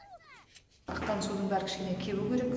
аққан судың бәрі кішкене кебу керек